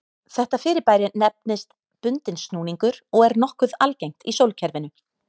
Þetta fyrirbæri nefnist bundinn snúningur og er nokkuð algengt í sólkerfinu.